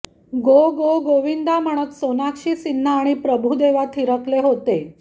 गो go Govinda म्हणत सोनाक्षी सिन्हा आणि प्रभू देवा थिरकले होते